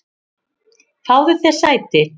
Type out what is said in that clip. Fáðu þér sæti.